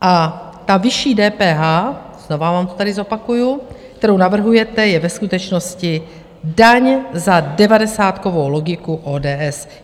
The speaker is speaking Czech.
A ta vyšší DPH, znova vám to tady zopakuji, kterou navrhujete, je ve skutečnosti daň za devadesátkovou logiku ODS.